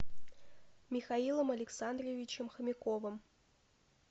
михаилом александровичем хомяковым